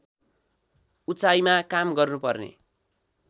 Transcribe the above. उचाइमा काम गर्नुपर्ने